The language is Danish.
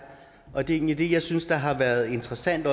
og det er egentlig det jeg synes har været interessant